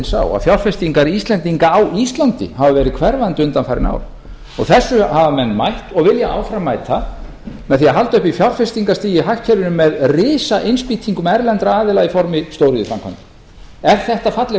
sá að fjárfestingar íslendinga á íslandi hafa verið hverfandi undanfarin ár og þessu hafa menn mætt og vilja áfram mæta með því að halda uppi fjárfestingarstigi í hagkerfinu með risainnspýtingum erlendra aðila í formi stóriðjuframkvæmda er þetta falleg